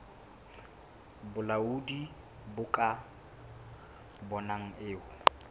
bolaodi bo ka bonang e